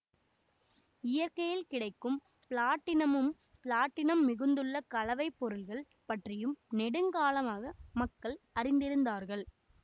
இயற்கையில் கிடைக்கும் பிளாட்டினம்மும் பிளாட்டினம்மிகுந்துள்ள கலவைப்பொருள்கள் பற்றியும் நெடுங்காலமாக மக்கள் அறிந்திருந்தார்கள்